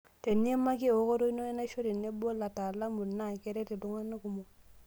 Teniimaki ewokoto ino enaisho tenebo lataalamu na keret iltung'ana kumok.